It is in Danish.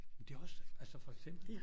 Men det er også at for eksempel